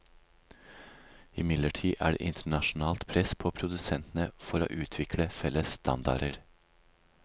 Imidlertid er det internasjonalt press på produsentene for å utvikle felles standarder.